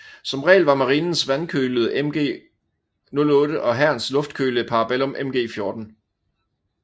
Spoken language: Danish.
Som regel var marinens vandkølede MG 08 og hærens luftkølede Parabellum MG 14